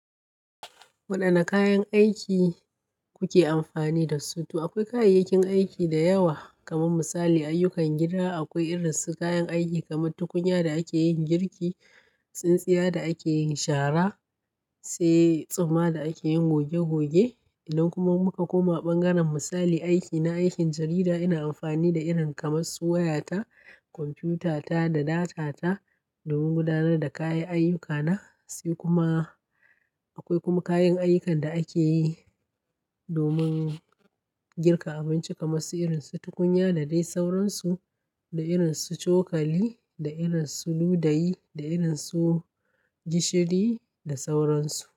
Wadanne kayan aiki kuke amfani dasu? To akwai kayayyakin aiki da yawa. Kamar misali, ayyukan gida akwai irin su kayan aiki kamar tukunya da ake yin girki, tsintsiya da ake yin shara, sai tsumma da ake yin goge-goge. Idan kuma muka koma ɓangaren misali aiki na aikin jarida, ina amfani da irin kamar su waya ta, computer ta da data ta domin gudanar da kayan ayyukana. Sai kuma akwai kuma kayan ayyukan da ake yi domin girka abinci kamar su irin su tukunya da dai sauransu, da irin su cokali, da irin su ludayi, da irin su gishiri da sauransu.